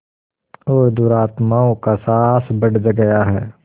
और दुरात्माओं का साहस बढ़ गया है